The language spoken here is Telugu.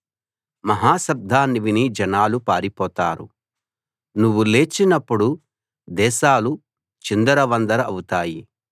మహా శబ్దాన్ని విని జనాలు పారిపోతారు నువ్వు లేచినప్పుడు దేశాలు చిందర వందర అవుతాయి